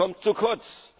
Das kommt zu kurz!